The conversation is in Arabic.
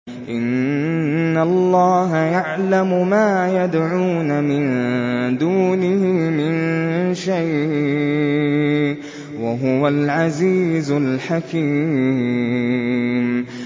إِنَّ اللَّهَ يَعْلَمُ مَا يَدْعُونَ مِن دُونِهِ مِن شَيْءٍ ۚ وَهُوَ الْعَزِيزُ الْحَكِيمُ